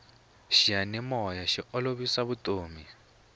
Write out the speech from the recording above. xiyanimoya xi olovisa vutomi